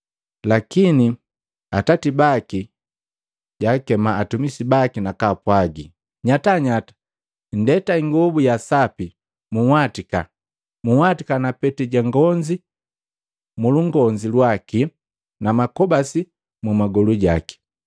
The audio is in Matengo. Lakini atati baki jakema atumisi baki nakaapwagi, ‘Nyatanyata! Nndeta ingobu ya sapi munhwatika! Munhwatika na peti ja ngonzi mulukonzi lwaki na makobasi mu kugolu jaki.